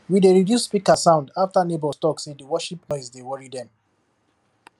we dey reduce speaker sound after neighbours talk say di worship noise dey worry dem